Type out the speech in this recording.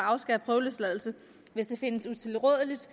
prøveløsladelse hvis det findes utilrådeligt